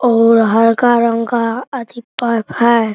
और हरका रंग का अथि पंख है।